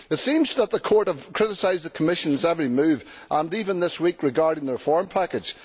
It seems that the Court has criticised the Commission's every move, even, this week, regarding the reform package.